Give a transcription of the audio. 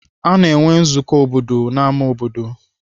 Ana enwe nzukọ obodo n'ámá obodo.